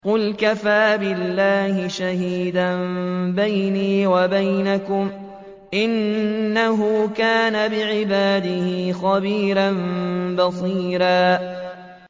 قُلْ كَفَىٰ بِاللَّهِ شَهِيدًا بَيْنِي وَبَيْنَكُمْ ۚ إِنَّهُ كَانَ بِعِبَادِهِ خَبِيرًا بَصِيرًا